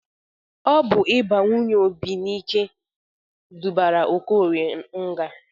Ọ bụ ịba nwunye Obi n'ike dubara Okorie nga.